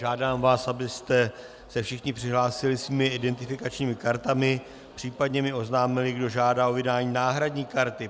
Žádám vás, abyste se všichni přihlásili svými identifikačními kartami, případně mi oznámili, kdo žádá o vydání náhradní karty.